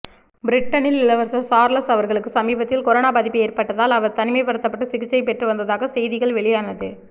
பிரிட்டனில் இளவரசர் சார்லஸ் அவர்களுக்கு சமீபத்தில் கொரோனா பாதிப்பு ஏற்பட்டதால் அவர் தனிமைப்படுத்தப்பட்டு சிகிச்சை பெற்று வந்ததாக செய்திகள் வெளியானது